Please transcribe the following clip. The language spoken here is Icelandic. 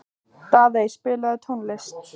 Daðey, spilaðu tónlist.